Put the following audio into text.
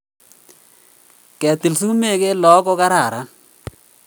Ketil sumek eng lakok ko kararan